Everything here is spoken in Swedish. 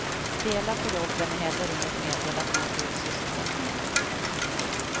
Dela på jobben är heller inget medel att nå full sysselsättning.